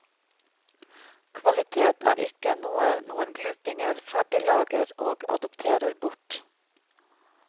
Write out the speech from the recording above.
Kvalitet er ikkje noe noen glupingar ferdiglagar og adopterer bort.